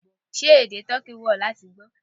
Ṣé èdè toki wù ó láti gbó?